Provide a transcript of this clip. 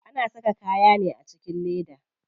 Ana saka kayan ne a cikin leda.